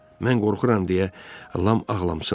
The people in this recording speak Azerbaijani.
Mən qorxuram, deyə Lam ağlamsındı.